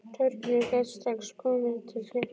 Þorgrímur gat strax komið mér til hjálpar.